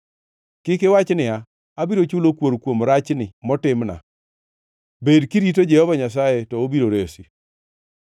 Kik iwach niya, “Abiro chulo kuor kuom rachni motimna!” Bed kirito Jehova Nyasaye to obiro resi.